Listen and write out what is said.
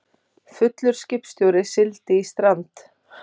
Fullur skipstjóri sigldi í strand